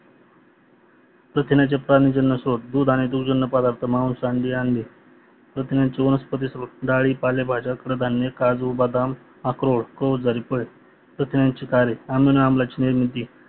प्रथिन्याचे पाणीजन्य स्तोत्र दूध आणि दुधजन्य प्रदार्थ मास आणि अंडी प्रथिन्यांचे वनस्पति क्रुज डाळी पालेभाज्या काळधान्य काजू बदाम अक्रोड क्रुज आणि फळे प्रथिन्यांचे डाळे आम्ल आणि आम्लाची निर्मिती